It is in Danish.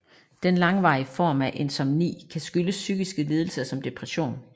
Den langvarige form af insomni kan skyldes psykiske lidelser som depression